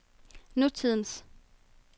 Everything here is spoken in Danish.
nutidens